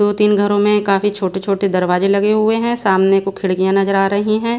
दो तीन घरों में काफी छोटे छोटे दरवाजे लगे हुए है सामने को खिड़कियां नजर आ रही है।